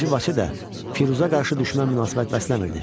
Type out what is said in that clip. II Vaçe də Firuza qarşı düşmən münasibət bəsləmirdi.